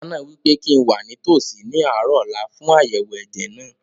Dókítà náà wí pé kíi n wà nítòsí ní àárọ̀ ọ̀la fún àyẹ̀wò ẹ̀jẹ̀ náà